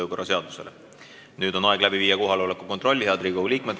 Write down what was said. Head Riigikogu liikmed, nüüd on aeg teha kohaloleku kontroll.